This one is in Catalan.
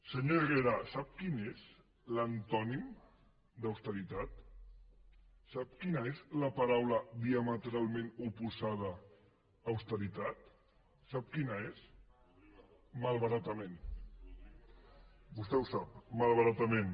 senyor herrera sap quin és l’antònim d’ austeritat sap quina és la paraula diametralment oposada a austeritat sap quina és malbaratament vostè ho sap malbaratament